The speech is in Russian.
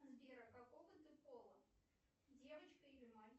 сбер а какого ты пола девочка или мальчик